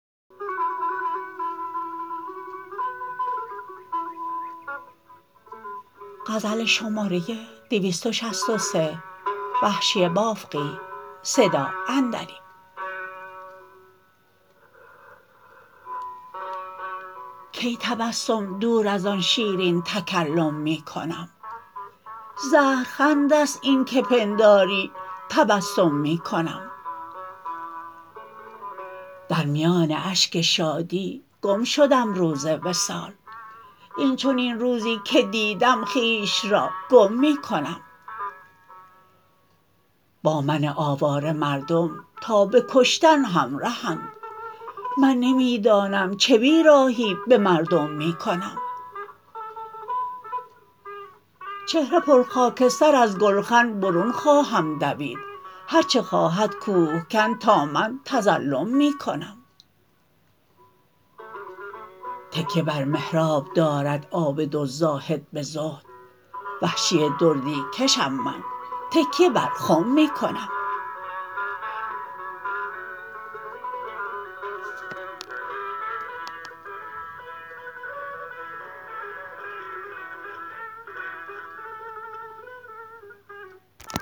کی تبسم دور از آن شیرین تکلم می کنم زهر خند است این که پنداری تبسم می کنم در میان اشک شادی گم شدم روز وصال اینچنین روزی که دیدم خویش را گم می کنم با من آواره مردم تا به کشتن همرهند من نمی دانم چه بی راهی به مردم می کنم چهره پرخاکستر از گلخن برون خواهم دوید هر چه خواهد کوهکن تا من تظلم می کنم تکیه بر محراب دارد عابد و زاهد به زهد وحشی دردی کشم من تکیه بر خم می کنم